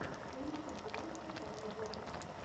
поищи киношку жанра вестерн